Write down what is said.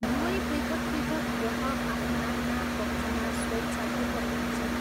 दुवै पृथक् पृथक् ग्रह आफ्ना आफ्ना कक्षमा स्वेच्छापूर्वक घुम्छन्।